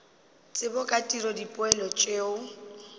tsebo ka tiro dipoelo tšeo